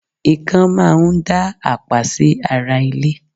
ikán máa ń dá àpá sí ara ilé